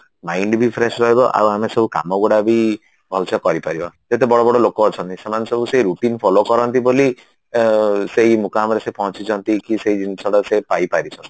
mind ବି fresh ରହିବ ଆଉ ଆମେ ସବୁ କାମ ଗୁଡା ବି ଭଲସେ କରିପାରିବା ଯେତେ ବଡ ବଡ ଲୋକ ଅଛନ୍ତି ସେମାନେ ସବୁ ସେଇ routine follow କରନ୍ତି ବୋଲି ସେଇ ମୁକାମରେ ସେ ପହଞ୍ଚିଛନ୍ତି କି ସେଇ ଜିନିଷଟା ସେ ପାଇପାରିଛନ୍ତି